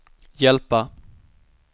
hjälpa